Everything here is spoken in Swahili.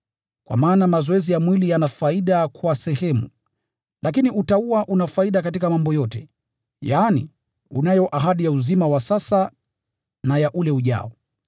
Kwa maana mazoezi ya mwili yana faida kwa sehemu, lakini utauwa una faida katika mambo yote, yaani, unayo ahadi ya uzima wa sasa na ya ule ujao.